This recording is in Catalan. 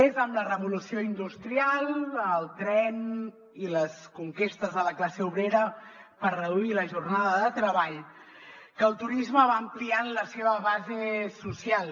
és amb la revolució industrial el tren i les conquestes de la classe obrera per reduir la jornada de treball que el turisme va ampliant la seva base social